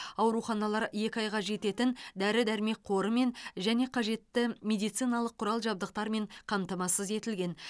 ауруханалар екі айға жететін дәрі дәрмек қорымен және қажетті медициналық құрал жабдықтармен қамтамасыз етілген